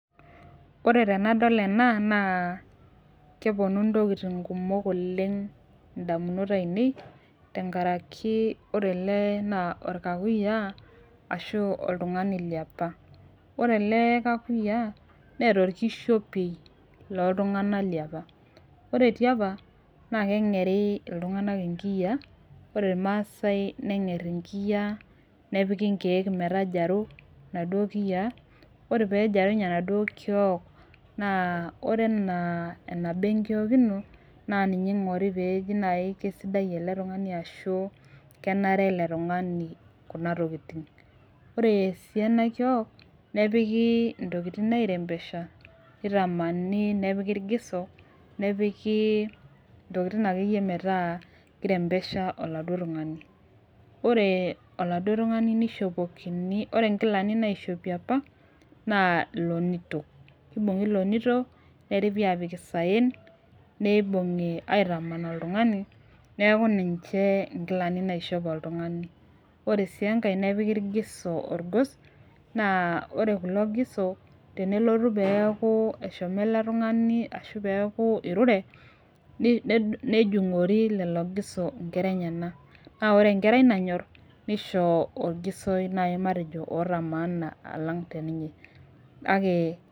Ore tenadol ena naa keponu intokiting kumok oleng indamunot ainei tenkaraki ore ele naa orkakuyia ashu oltung'ani liapa ore ele kakuyia neeta orkishiopei loltung'anak liapa ore tiapa naa keng'eri iltung'anak inkiyia ore irmaasae neng'err inkiyia nepiki inkeek metajaru inaduo kiyianore pejarunye enaduo kiok naa ore enaa enaba enkiok ino naa ninye ing'ori peeji naaji kesidai ele tung'ani ashu kenare ele tung'ani kuna tokiting ore sii ena kiok nepiki intokitin aerembesha nitamani nepiki irgiso nepiki intokitin akeyie metaa kirembesha oladuo tung'ani ore oladuo tung'ani nishopokini ore inkilani naishopi apa naa ilonito kibung'i ilonito neripi apik isayen neibung'i aitaman oltung'ani neku ninche inkilani naishop oltung'ani ore sii enkae nepiki irgiso orgos naa ore kulo giso tenelotu peeku eshomo ele tung'ani ashu peeku irure nei nejung'ori lelo giso inkera enyena naa ore enkera nanyorr neisho orgisoi matejo oota maana alang teninye kake.